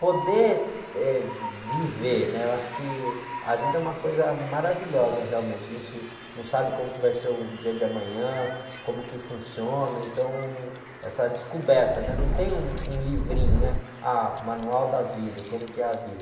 Poder, eh, viver, né? Eu acho que a vida é uma coisa maravilhosa realmente, a gente não sabe como vai ser o dia de amanhã, como que funciona, então essa descoberta, né? Não tem um, um livrinho, né? Ah, o manual da vida, como que é a vida.